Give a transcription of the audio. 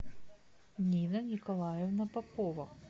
нина николаевна попова